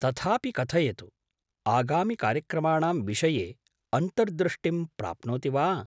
तथापि कथयतु, आगामिकार्यक्रमाणां विषये अन्तर्दृष्टिं प्राप्नोति वा?